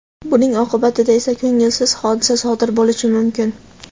buning oqibatida esa ko‘ngilsiz hodisa sodir bo‘lishi mumkin.